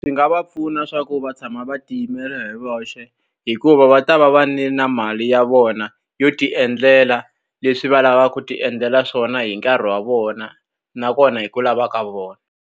Ndzi nga va pfuna leswaku va tshama va tiyimela hi voxe hikuva va ta va va ri ni na mali ya vona yo ti endlela leswi va lavaka ku ti endlela swona, hi nkarhi wa vona nakona hi ku lava ka vona.